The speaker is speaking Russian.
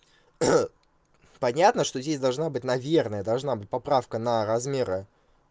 понятно что здесь должна быть наверное должна быть поправка на размеры